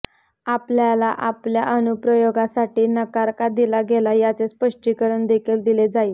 आपल्याला आपल्या अनुप्रयोगास नकार का दिला गेला याचे स्पष्टीकरण देखील दिले जाईल